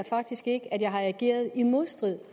faktisk ikke at jeg har ageret i modstrid